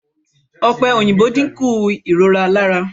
Ọ̀pẹ̀-òyìnbó dínkù ìrora lára.